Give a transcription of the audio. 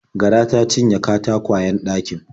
Gara ta cinye katakwayen ɗakin.